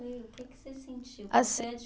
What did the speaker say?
O que que você sentiu?